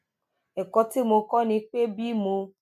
èkó tí mo kó ni pé bí mo